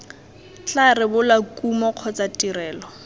tla rebola kumo kgotsa tirelo